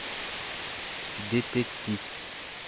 детектив